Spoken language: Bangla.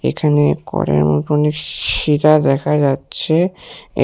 এখানে ঘরের মতনই শিরা দেখা যাচ্ছে এ--